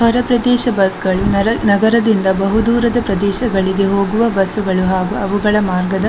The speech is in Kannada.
ಹೊರ ಪ್ರದೇಶ ಬಸ್ ಗಳು ನರ- ನಗರದಿಂದ ಬಹುದೂರದ ಪ್ರದೇಶಗಳಿಗೆ ಹೋಗುವ ಬಸ್ ಗಳು ಹಾಗೂ ಅವುಗಳ ಮಾರ್ಗದ--